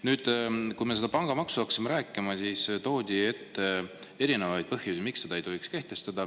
Kui me hakkasime pangamaksust rääkima, siis toodi erinevaid põhjusi, miks seda ei tohiks kehtestada.